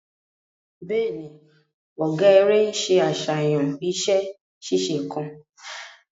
Bẹẹni, ọgá eré nṣe àṣàyàn iṣẹ ṣíṣe kan